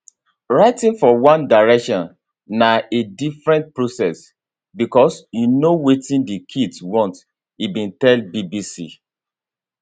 writing for one direction na a different process because you know wetin di kids want e bin tell bbc